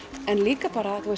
en líka